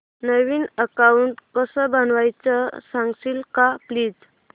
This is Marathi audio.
नवीन अकाऊंट कसं बनवायचं सांगशील का प्लीज